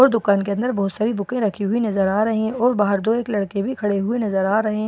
और दुकान के अंदर बहुत सारी बुकें रखी हुई नजर आ रही हैं और बाहर दो एक लड़के भी खड़े हुए नजर आ रहे--